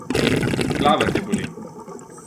Glava te boli!